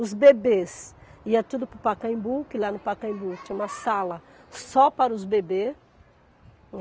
Os bebês iam tudo para o Pacaembu, que lá no Pacaembu tinha uma sala só para os bebês.